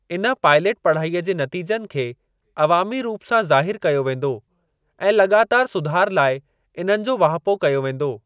इन पायलट पढ़ाईअ जे नतीजनि खे अवामी रूप सां ज़ाहिरु कयो वेंदो ऐं लॻातारि सुधार लाइ इन्हनि जो वाहिपो कयो वेंदो।